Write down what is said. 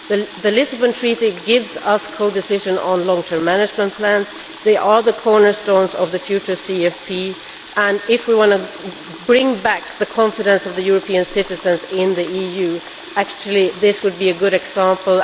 The Lisbon Treaty gives us co decision on long term management plans they are the cornerstones of the future CFP, and if we want to win back the confidence of European citizens in the EU, this would in fact be a good example.